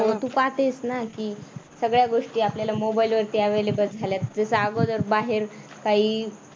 हो तू पाहतेस ना की सगळ्या गोष्टी आपल्याला मोबाईलवरती available झाल्यात जसं अगोदर बाहेर काही